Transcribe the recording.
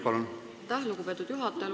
Aitäh, lugupeetud juhataja!